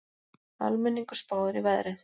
Almenningur spáir í veðrið